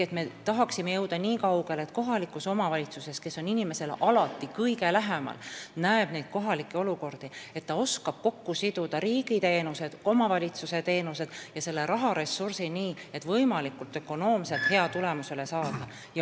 Ehk me tahaksime jõuda nii kaugele, et kohalik omavalitsus, kes on alati inimesele kõige lähemal ja näeb kohalikke olukordi, oskaks kokku siduda riigiteenused, omavalitsuse teenused ja selle raharessursi nii, et võimalikult ökonoomselt hea tulemus saada.